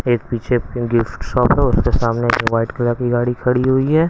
एक पीछे शॉप है और उसके सामने में वाइट कलर की गाड़ी खड़ी हुई है।